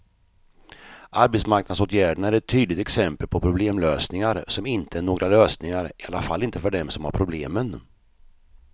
Arbetsmarknadsåtgärderna är ett tydligt exempel på problemlösningar som inte är några lösningar, i alla fall inte för dem som har problemen.